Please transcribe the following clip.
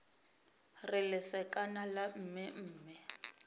re lesekana la mme mme